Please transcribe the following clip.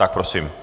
Tak prosím.